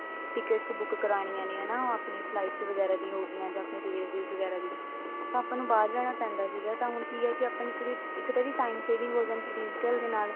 tickets book ਕਰਨੀਆਂ ਨੇ ਹਨਾ ਆਪਣੀ flights ਵਗੈਰਾ ਦੀਆਂ ਹੋਗਿਆ ਜਾਂ ਆਪਣੇ railway ਵਗੈਰਾ ਦੀ ਤਾਂ ਆਪਾਂ ਨੂੰ ਬਾਹਰ ਜਾਣਾ ਪੈਂਦਾ ਸੀ ਤਾਂ ਹੁਣ ਕੀ ਹੈ ਇੱਕ ਤਾਂ ਇਹਦੀ time saving ਹੋ ਜਾਂਦੀ ਹੈ digital ਦੇ ਨਾਲ